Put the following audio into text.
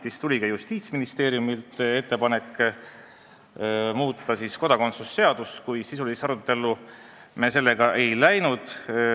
Meile oli tulnud ka Justiitsministeeriumi ettepanek muuta kodakondsusseadust, kuid sisulisse arutellu selle üle me ei laskunud.